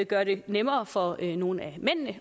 gøre det nemmere for nogle af mændene